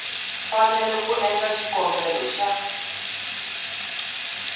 fanele ku endla xikombelo xa